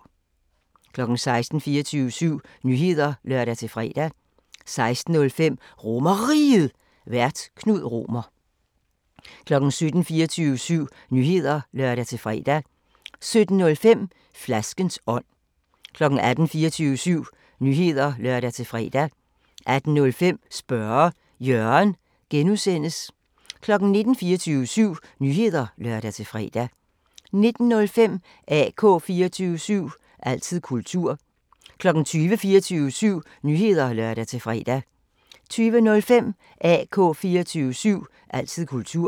16:00: 24syv Nyheder (lør-fre) 16:05: RomerRiget, Vært: Knud Romer 17:00: 24syv Nyheder (lør-fre) 17:05: Flaskens ånd 18:00: 24syv Nyheder (lør-fre) 18:05: Spørge Jørgen (G) 19:00: 24syv Nyheder (lør-fre) 19:05: AK 24syv – altid kultur 20:00: 24syv Nyheder (lør-fre) 20:05: AK 24syv – altid kultur